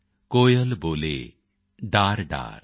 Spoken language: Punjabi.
ਕੋਇਲ ਬੋਲੇ ਡਾਰਡਾਰ